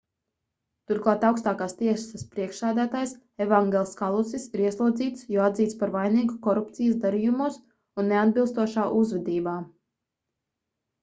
turklāt augstākās tiesas priekšsēdētājs evangels kalusis ir ieslodzīts jo atzīts par vainīgu korupcijas darījumos un neatbilstošā uzvedībā